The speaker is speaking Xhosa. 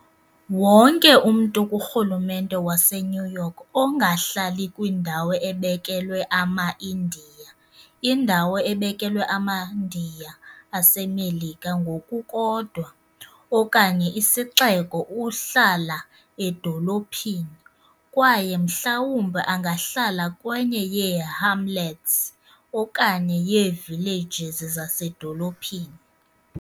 Wonke umntu kurhulumente waseNew York ongahlali kwindawo ebekelwe amaIndiya, indawo ebekelwe amaNdiya aseMelika ngokukodwa, okanye isixeko uhlala edolophini, kwaye mhlawumbi angahlala kwenye yeehamlets okanye yeevillages zasedolophini.